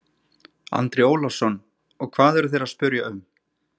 Andri Ólafsson: Og hvað eru þeir að spyrja um?